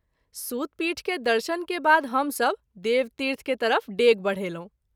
सूत पीठ के दर्शन के बाद हम सभ देवतीर्थ के तरफ डेग बढेलहुँ।